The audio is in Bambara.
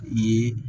U ye